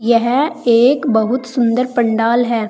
यह एक बहुत सुंदर पंडाल है।